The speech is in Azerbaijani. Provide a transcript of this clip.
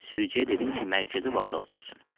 Sürücüyə dedim ki, mərkəzi vağzala sürsün.